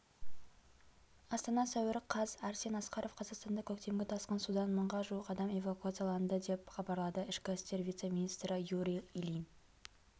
астана сәуір қаз арсен асқаров қазақстанда көктемгі тасқын судан мыңға жуық адам эвакуацияланды деп хабарлады ішкі істер вице-министрі юрий ильин